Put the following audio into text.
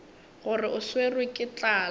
gore o swerwe ke tlala